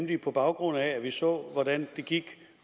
vi på baggrund af at vi så hvordan det gik